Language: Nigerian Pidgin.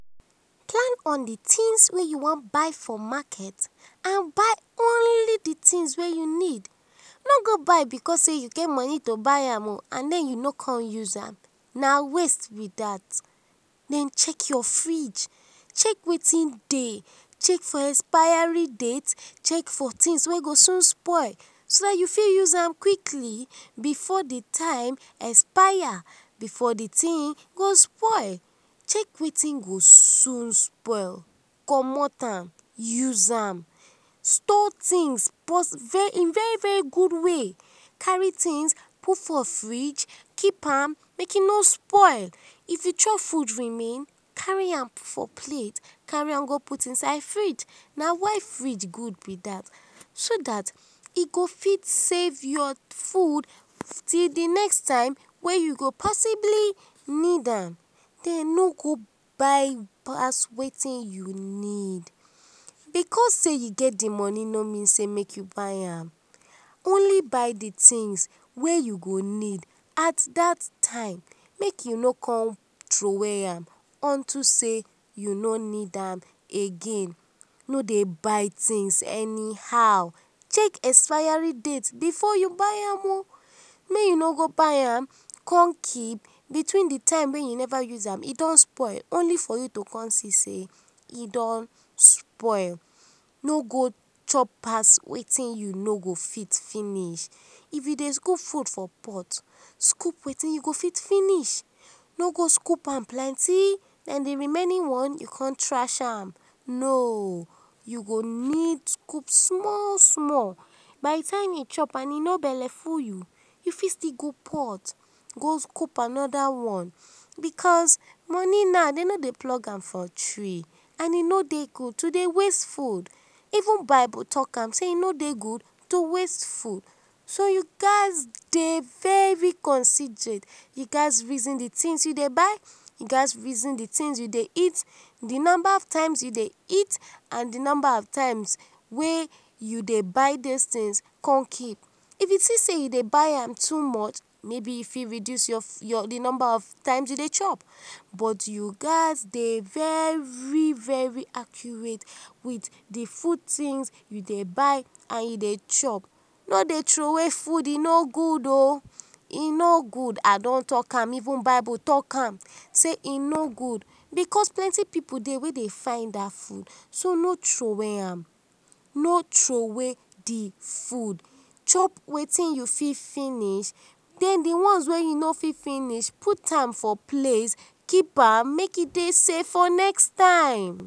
Plan for d things wey u wan buy for market and buy only d things wey u need, no go buy because sey u get money to buy am and u no com use am, na waste b dat, den check your fridge, check wetin dey, check for expiry date, check for things wey go soon soon spoil so dat u go fit use am quickly before d time expire, before d thing go spoil, check wetin go soon spoil, commot am use am, store things in very very good way, carry things put for fridge make e no spoil, if u chop food remain carry am put for plate carry am go put inside fridge, na why fridge good b dat so dat e go fit save yor food till d next time wey u go possibly need am, den no go buy pass wetin u need, because sey u get d money no mean sey make u buy am, only buy d things wey u go need at dat time make u no con throway m unto sey u no need am again, no dey buy things anyhow, check expiry date before u buy am oh, may u no go buy am con kep betweend time wey u never use am e go con spoil only to see sey e don spoil, no go chop pass wetin u no go fit finish, if u dey scoop food for pot, scoop wetin u go fit finish, no go scoop am plenty den d remaining one u con trash am, no, u go need scoop small small, by d time u chop and e no belle full u, u fit still go pot go scoop anoda one because money now dem no dey plug am for tree and e no dey go to dey waste food, even bible talk am sey e no dey good to dey waste food, so you gats dey very considerate, u gats reason d things u dey buy, u gats reason d things u dey eat, d numba of times u dey eat and d numba of times u dey buy those things con keep, if u see sey u dey buy am too much mayb u fit reduce d number of times u dey chop, but u gats dey very very accurate with d food things u dey buy and u dey chop, no dey throway food e no good o e no good I don talk am, even bible talk am sey e no good because plenty pipu dey wey dey find dat food so no throway am, no thruway d food, chop wetin u fit finish den d ones wey u no fit finish put am for plate keep am make e dey safe for next time.